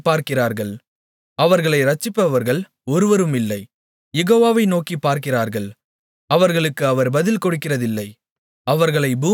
அவர்கள் நோக்கிப் பார்க்கிறார்கள் அவர்களை இரட்சிப்பவர்கள் ஒருவருமில்லை யெகோவாவை நோக்கிப் பார்க்கிறார்கள் அவர்களுக்கு அவர் பதில் கொடுக்கிறதில்லை